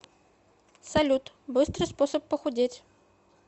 салют быстрый способ похудеть